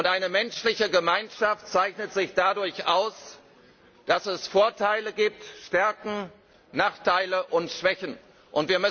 Eine menschliche Gemeinschaft zeichnet sich dadurch aus, dass es Vorteile, Stärken, Nachteile und Schwächen gibt.